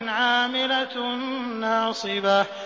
عَامِلَةٌ نَّاصِبَةٌ